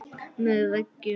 Með veggjum